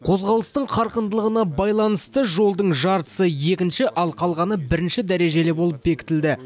қозғалыстың қарқындылығына байланысты жолдың жартысы екінші ал қалғаны бірінші дәрежелі болып бекітілді